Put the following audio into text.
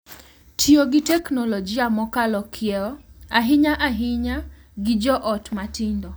Tiyo gi teknoloji mokalo kiewo, ahinya ahinya gi jo ot matindo,